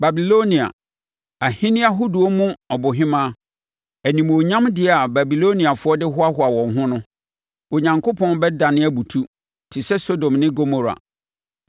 Babilonia, ahennie ahodoɔ mu ɔbohemaa, animuonyamdeɛ a Babiloniafoɔ de hoahoa wɔn ho no, Onyankopɔn bɛdane abutu te sɛ Sodom ne Gomora.